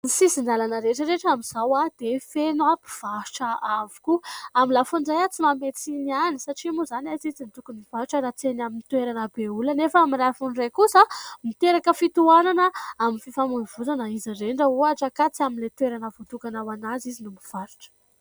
Ny sisin-dalana rehetra rehetra amin'izao dia feno mpivarotra avokoa. Amin'ny lafiny iray tsy manome tsiny ihany satria moa izany aiza izy no tokony mivarotra raha tsy eny amin'ny toerana be olona ? Nefa amin'ny lafiny iray kosa miteraka fitohanana amin'ny fifamoivozana izy ireny raha ohatra ka tsy amin'ilay toerana voatokana ho an'azy izy no mivarotra.